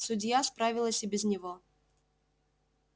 судья справилась и без него